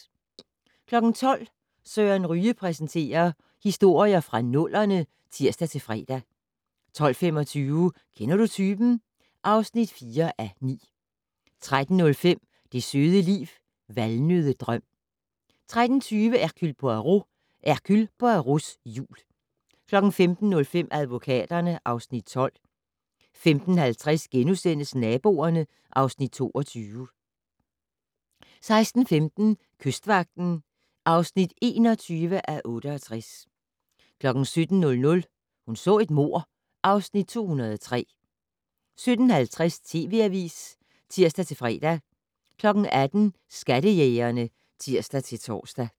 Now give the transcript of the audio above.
12:00: Søren Ryge præsenterer: Historier fra nullerne (tir-fre) 12:25: Kender du typen? (4:9) 13:05: Det søde liv - Valnøddedrøm 13:20: Hercule Poirot: Hercule Poirots jul 15:05: Advokaterne (Afs. 12) 15:50: Naboerne (Afs. 22)* 16:15: Kystvagten (21:68) 17:00: Hun så et mord (Afs. 203) 17:50: TV Avisen (tir-fre) 18:00: Skattejægerne (tir-tor)